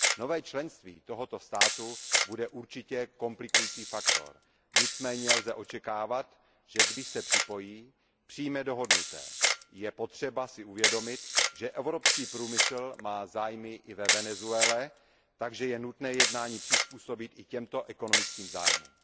Nové členství tohoto státu bude určitě komplikující faktor, nicméně lze očekávat, že když se připojí, přijme dohodnuté. Je potřeba si uvědomit, že evropský průmysl má zájmy i ve Venezuele, takže je nutné jednání přizpůsobit i těmto ekonomickým zájmům.